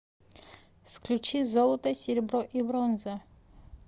включи золото серебро и бронза